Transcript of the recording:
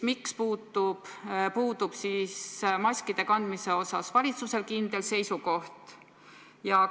Miks puudub valitsusel maskide kandmise suhtes kindel seisukoht?